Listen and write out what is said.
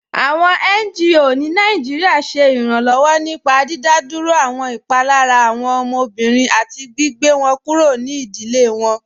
Awọn NGO ni Nàìjíríà ṣẹ iranlọwọ nípá dídádúró awọn ipalara awọn ọmọbìrín àti gbìgbẹ̀ wọn kúrò ní ìdílé wọn.